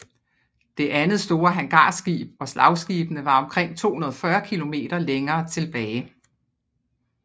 Det andet store hangarskib og slagskibene var omkring 240 km længere tilbage